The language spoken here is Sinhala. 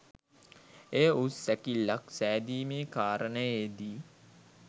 එය උස් සැකිල්ලක් සෑදීමේ කාරණයේ දී